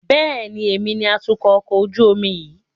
Bẹ́ẹ̀ni, èmi ni atukọ̀ ọkọ̀ ojú omi yìí.